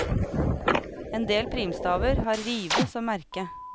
Endel primstaver har rive som merke.